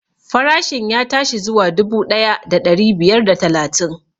Farashin ya tashi zuwa dubu ɗaya da ɗari biyar da talatin